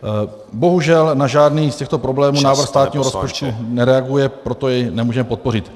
Bohužel na žádný z těchto problémů návrh státního rozpočtu nereaguje , proto jej nemůžeme podpořit.